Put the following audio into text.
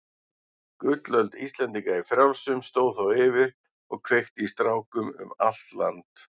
Gullöld Íslendinga í frjálsum stóð þá yfir og kveikti í strákum um allt land.